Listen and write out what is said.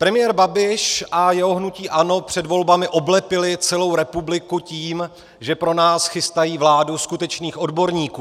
Premiér Babiš a jeho hnutí ANO před volbami oblepili celou republiku tím, že pro nás chystají vládu skutečných odborníků.